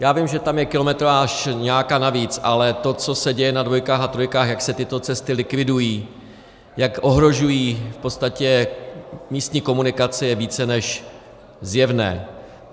Já vím, že je tam kilometráž nějaká navíc, ale to, co se děje na dvojkách a trojkách, jak se tyto cesty likvidují, jak ohrožují v podstatě místní komunikace, je více než zjevné.